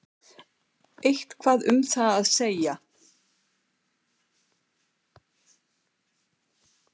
Eitthvað um það að segja?